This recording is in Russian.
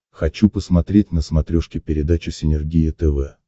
хочу посмотреть на смотрешке передачу синергия тв